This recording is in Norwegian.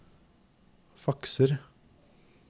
fakser